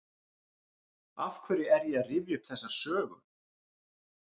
Af hverju er ég að rifja upp þessa sögu?